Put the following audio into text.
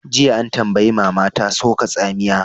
Jiya, an tambayi mama ta "Soka tsamiya!"